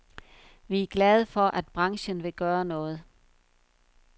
Vi er glade for, at branchen vil gøre noget.